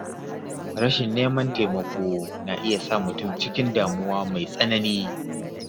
Rashin neman taimako na iya sa mutum cikin damuwa mai tsanani.